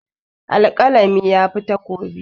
Alƙalami yafi takobi.